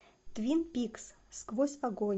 твин пикс сквозь огонь